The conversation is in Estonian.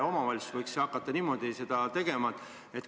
Omavalitsused võiksid hakata niimoodi tegema.